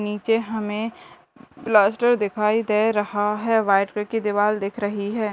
नीचे हमे पास्टर दिखाई दे रहा है वाइट कलर की दीवाल दिख रही है ।